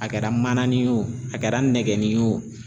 A kɛra mananin ye o a kɛra nɛgɛnni ye o